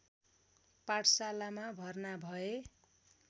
पाठशालामा भर्ना भए